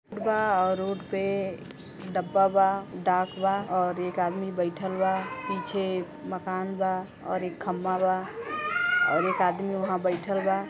बा और रोड पे डब्बा बा डाक बा और एक आदमी बइठल बा। पीछे मकान बा और एक खंभा बा और एक आदमी वहाँ बइठल बा।